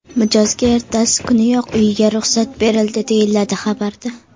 Mijozga ertasi kuniyoq uyiga ruxsat berildi, deyiladi xabarda.